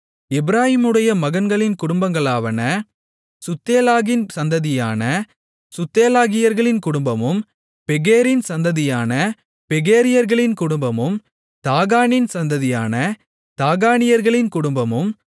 எப்பிராயீமுடைய மகன்களின் குடும்பங்களாவன சுத்தெலாகின் சந்ததியான சுத்தெலாகியர்களின் குடும்பமும் பெகேரின் சந்ததியான பெகேரியர்களின் குடும்பமும் தாகானின் சந்ததியான தாகானியர்களின் குடும்பமும்